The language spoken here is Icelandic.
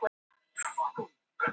Hrópar í ákafanum.